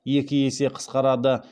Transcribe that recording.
екі есе қысқарады